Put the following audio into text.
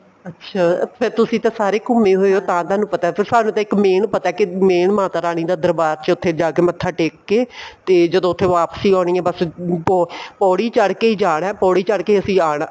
ਅੱਛਾ ਫ਼ੇਰ ਤੁਸੀਂ ਤਾਂ ਸਾਰੇ ਘੁੰਮੇ ਹੋਏ ਤਾਂ ਤੁਹਾਨੂੰ ਪਤਾ ਸਾਨੂੰ ਤਾਂ ਇੱਕ main ਪਤਾ ਕੀ main ਮਾਤਾ ਰਾਣੀ ਦਾ ਦਰਬਾਰ ਵਿੱਚ ਉੱਥੇ ਜਾਕੇ ਮੱਥਾ ਟੇਕ ਕੇ ਤੇ ਜਦੋਂ ਉੱਥੇ ਵਾਪਸੀ ਆਉਣੀ ਏ ਬੱਸ ਪੋੜੀ ਚੜਕੇ ਹੀ ਜਾਣਾ ਏ ਪੋੜੀ ਚੜਕੇ ਹੀ ਅਸੀਂ ਆਣਾ